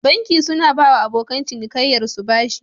Banki suna bawa abokan cinikaiyar su bashi